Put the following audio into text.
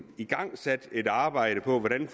igangsat et arbejde om hvordan